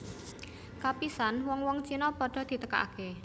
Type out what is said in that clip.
Kapisan wong wong Cina padha ditekakaké